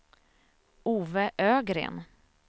Ove Ögren